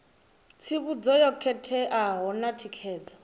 tsivhudzo yo khetheaho na thikedzo